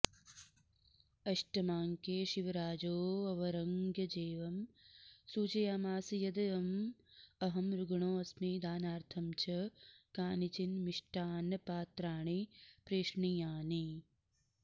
अष्टमाङ्के शिवराजोऽवरङ्गजेबं सूचयामास यद् अहं रुग्णोऽस्मि दानार्थं च कानिचिन् मिष्टान्नपात्राणि प्रेषणीयानि